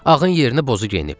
Ağın yerinə bozu geyinib.